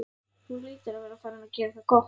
Þú hlýtur að vera farinn að gera það gott!